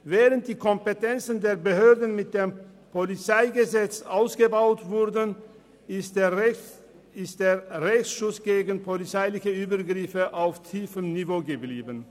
Während die Kompetenzen der Behörden mit dem PolG ausgebaut worden sind, ist der Rechtsschutz gegen polizeiliche Übergriffe auf tiefem Niveau geblieben.